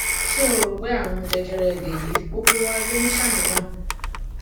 ṣé o rò pé àrùn jẹjẹrẹ lèyí gbogbo wa ló ń ṣàníyàn